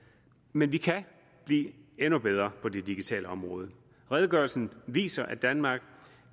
men vi kan blive endnu bedre på det digitale område redegørelsen viser at danmark